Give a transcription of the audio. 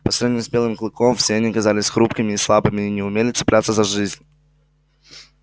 по сравнению с белым клыком все они казались хрупкими и слабыми и не умели цепляться за жизнь